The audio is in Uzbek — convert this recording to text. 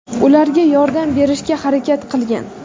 ularga yordam berishga harakat qilgan.